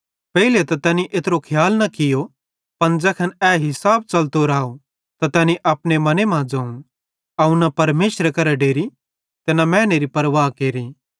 पेइले त तैनी एत्रो खियाल न कियो पन ज़ैखन ए हिसाब च़लतो राव त तैनी अपने मने मां ज़ोवं अवं न परमेशरे करां डेरि ते न मैनेरी परवाह केरि